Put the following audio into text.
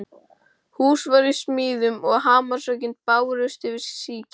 Hús var í smíðum og hamarshöggin bárust yfir síkið.